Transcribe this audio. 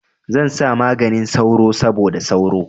Zan sa maganin sauro saboda sauro.